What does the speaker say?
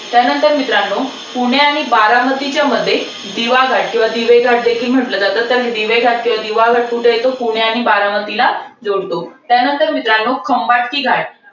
त्यानंतर मित्रांनो पुणे आणि बारामतीच्या मध्ये दिवाघाट किंवा दिवे घाट देखील म्हंटल जातं. तर हे दिवे घाट किवा दिवा घाट कुठे येतो? पुणे आणि बारामतीला जोडतो. त्यानंतर मित्रांनो खंबाटकी घाट,